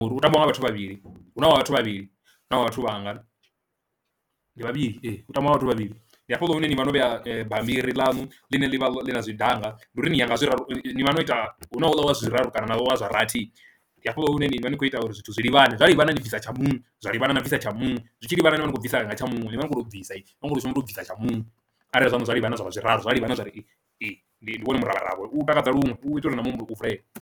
Uri u tambiwa nga vhathu vhavhili huna havha vhathu vhavhili huna havha vhathu vhangana ndi vhavhili ee hu tambiwa vhathu vhavhili, ndi hafhaḽa hune ni vha no vhea bammbiri ḽanu ḽine ḽi vha ḽi na zwi danga ndi uri ni yanga zwiraru ni vha no ita hu na houḽa wa zwiraru kana navho vha zwa rathi, ndi hafha hune ni vha ni khou ita uri zwithu zwi livhane zwa livhana ni bvisa tsha muṅwe zwa livhana na bvisa tsha muṅwe zwitshi livhana na vha ni khou bvisa ṋanga tsha muṅwe ni vha ni khou to bvisa ini nivha ni kho to shuma to bvisa tsha muṅwe, arali zwa hone zwa livhana zwavha zwiraru zwa livhana zwa ri ndi wone muravharavha u takadza luṅwe u itela uri na muhumbulo u vulee.